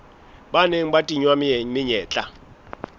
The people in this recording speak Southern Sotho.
ba neng ba tingwa menyetla